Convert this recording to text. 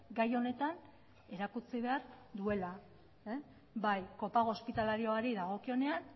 gai honetan erakutsi behar duela bai kopago hospitalarioari dagokionean